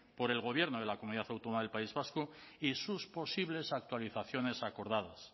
por el gobierno de la comunidad autónoma del país vasco y sus posibles actualizaciones acordadas